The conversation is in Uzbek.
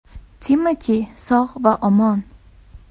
Timati sog‘ va omon!